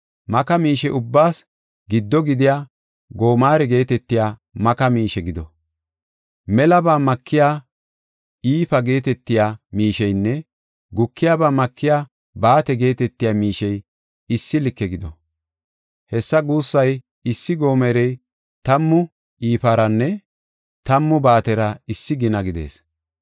Maka miishe ubbaas giddo gidiya gomare geetetiya maka miishe gido. Melaba makiya ifa geetetiya miisheynne gukiyaba makiya baate geetetiya miishey issi like gido. Hessa guussay, issi gomerey tammu ifaranne tammu baatera issi gina gidees.